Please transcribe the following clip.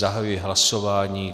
Zahajuji hlasování.